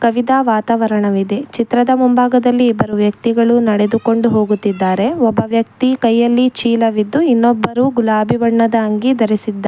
ಅವಿತಾ ವಾತಾವರಣವಿದೆ ಚಿತ್ರದ ಮುಂಭಾಗದಲ್ಲಿ ಇಬ್ಬರು ವ್ಯಕ್ತಿಗಳು ನಡೆದುಕೊಂಡು ಹೋಗುತ್ತಿದ್ದಾರೆ ಒಬ್ಬ ವ್ಯಕ್ತಿ ಕೈಯಲ್ಲಿ ಚೀಲವಿದ್ದು ಇನ್ನೊಬ್ಬರು ಗುಲಾಬಿ ಬಣ್ಣದ ಅಂಗಿ ಧರಿಸಿದ್ದಾ--